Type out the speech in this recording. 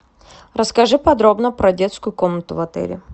расскажи подробно про детскую комнату в отеле